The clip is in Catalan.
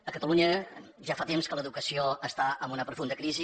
a catalunya ja fa temps que l’educació està en una profunda crisi